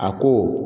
A ko